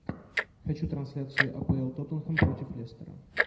хочу трансляцию апл тоттенхэм против лестера